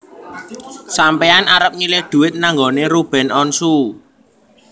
Sampean arep nyilih duit nang nggonane Ruben Onsu